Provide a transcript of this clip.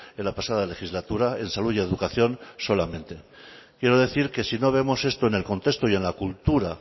en la pasada legislatura en salud y educación solamente quiero decir que si no vemos esto en el contexto y en la cultura